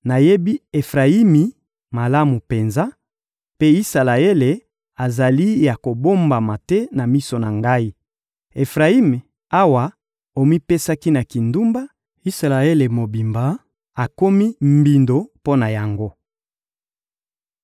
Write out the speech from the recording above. Nayebi Efrayimi malamu penza; mpe Isalaele azali ya kobombama te na miso na Ngai. Efrayimi, awa omipesaki na kindumba, Isalaele mobimba akomi mbindo mpo na yango.